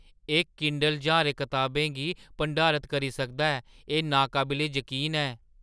एह् किंडल ज्हारें कताबें गी भंडारत करी सकदा ऐ। एह् नाकाबले जकीन ऐ!